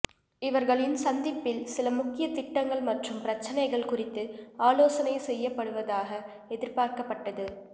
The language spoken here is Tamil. இவர்களின் சந்திப்பில் சில முக்கிய திட்டங்கள் மற்றும் பிரச்னைகள் குறித்து ஆலோசனை செய்யப்படுவதாக எதிர்பார்க்கப்பட்டது